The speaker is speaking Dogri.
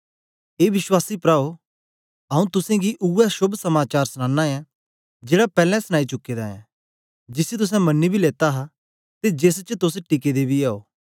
ए विश्वासी प्राओ आऊँ तुसेंगी उवै शोभ समाचार सुनानां ऐ जेड़ा पैलैं सनाई चुके दा ऐं जिसी तुसें मन्नी बी लेत्ता हा ते जेस च तोस टिके दे बी ओ